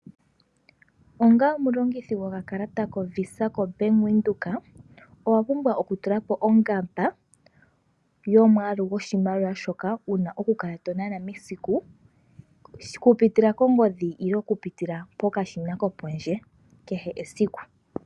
Onga omulongithi gokakalata koVisa koBank Windhoek owa pumbwa okutulapo ongamba yomwaalu gwoshimaliwa shoka wu na okukala to nana mesiku okupitila kongodhi yokupitila pokashina kopondje kehe esiku.